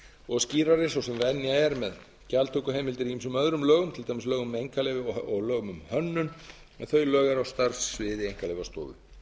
og skýrari svo sem venja er með gjaldtökuheimildir í ýmsum öðrum lögum til dæmis lögum um einkaleyfi og lögum um hönnun en þau lög eru á starfssviði einkaleyfastofu